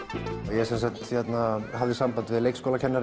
ég semsagt hafði samband við leikskólakennara